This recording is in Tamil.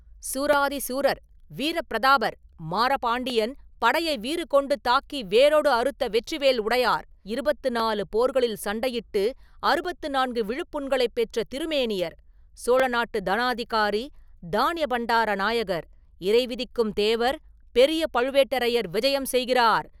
“சூராதி சூரர், வீரப்பிரதாபர், மாறபாண்டியன் படையை வீறுகொண்டு தாக்கி வேரோடு அறுத்த வெற்றி வேல் உடையார், இருபத்து நாலு போர்களில் சண்டையிட்டு அறுபத்து நான்கு விழுப்புண்களைப் பெற்ற திருமேனியர், சோழ நாட்டுத் தனாதிகாரி, தானிய பண்டார நாயகர், இறைவிதிக்கும் தேவர், பெரிய பழுவேட்டரையர் விஜயம் செய்கிறார்!